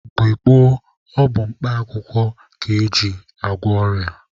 Mgbe gboo bụ mkpa akwụkwọ ka eji agwọ ọrịa.